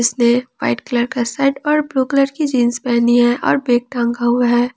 White colour का shirt और blue colour का जींस पहनी है और बैग टांगा हुए है।